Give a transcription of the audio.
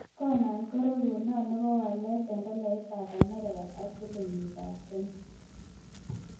Konan karogunet ne po walet eng' tolaitap amerika ak silingiitap Kenya